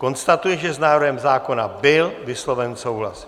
Konstatuji, že s návrhem zákona byl vysloven souhlas.